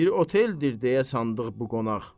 Bir oteldir deyə sandıq bu qonaq.